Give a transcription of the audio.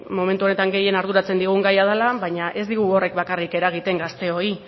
momentu honetan gehien arduratzen digun gaia dela baina ez digu horrek bakarrik eragiten gazteoi